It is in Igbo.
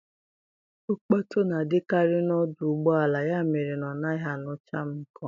Nkpọtu na-adịkarị n'odụ ụgbọala, ya mere na ọ naghị anụcha m nke ọma.